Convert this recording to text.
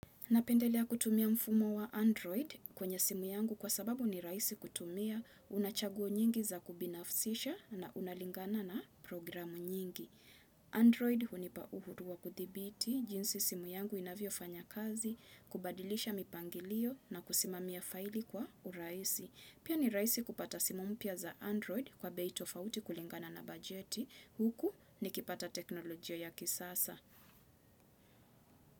Napendelea kutumia mfumo wa Android kwenye simu yangu kwa sababu ni raisi kutumia, unachaguo nyingi za kubinafsisha na unalingana na programu nyingi. Android hunipa uhuru wa kuthibiti, jinsi simu yangu inavyo fanya kazi, kubadilisha mipangilio na kusimamia faili kwa uraisi. Pia ni raisi kupata simu mpya za Android kwa bei tofauti kulingana na bajeti, huku nikipata teknolojia ya kisasa.